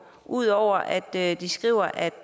ud over at de skriver at